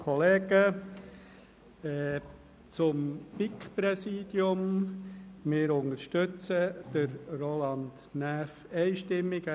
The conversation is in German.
Zum BiK-Präsidium: Wir unterstützen einstimmig Roland Näf.